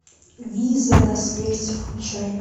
виза на смерть включай